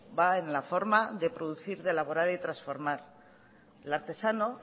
va en la forma de producir de elaborar y de transformar el artesano